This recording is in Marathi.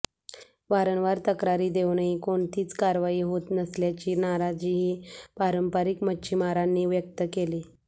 वारंवार तक्रारी देऊनही कोणतीच कारवाई होत नसल्याची नाराजीही पारंपरिक मच्छीमारांनी व्यक्त केली